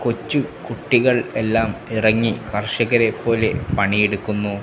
കൊച്ചു കുട്ടികൾ എല്ലാം ഇറങ്ങി കർഷകരെ പോലെ പണിയെടുക്കുന്നു.